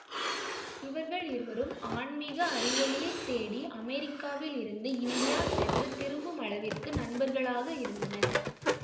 இவர்கள் இருவரும் ஆண்மீக அறிவொளியைத் தேடி அமெரிக்காவில் இருந்து இந்தியா சென்று திரும்புமளவிற்கு நண்பர்களாக இருந்தனர்